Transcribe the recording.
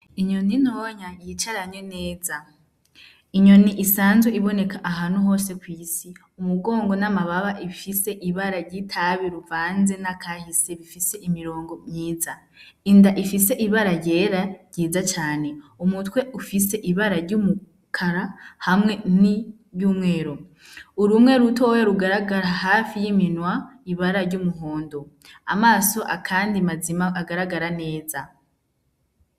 Inyoni ntonya yicaranye neza inyoni isanzwe iboneka ahantu hose kw'isi, umugongo n'amababa bifise ibara ry'itabi ruvanze n'akahise bifise imirongo myiza inda ifise ibara ryera ryiza cane umutwe ufise ibara ry'umukara hamwe niry'umweru, urumwe rutoya rugaragara hafi y'iminwa ibara ry'umuhondo amaso kandi mazima kandi agaragara neza